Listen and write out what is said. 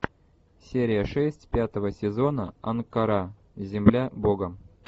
серия шесть пятого сезона анкара земля бога